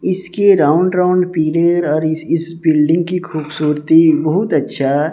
इसके round round और इस इस बिल्डिंग की खूबसूरती बहुत अच्छा--